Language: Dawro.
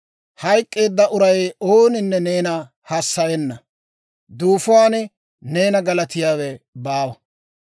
Hayk'k'eedda uray ooninne neena hassayenna; duufuwaan neena galatiyaawe baawa.